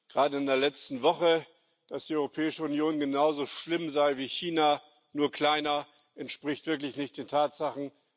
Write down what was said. Gerade in der letzten Woche, dass die Europäische Union genauso schlimm sei wie China, nur kleiner, entspricht wirklich nicht den Tatsachen.